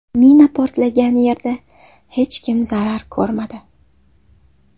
Mina portlagan yerda hech kim zarar ko‘rmadi.